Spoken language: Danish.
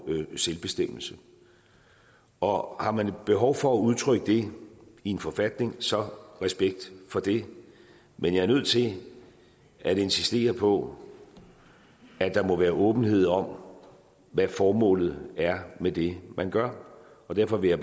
selvbestemmelse og har man et behov for at udtrykke det i en forfatning så respekt for det men jeg er nødt til at insistere på at der må være åbenhed om hvad formålet er med det man gør derfor vil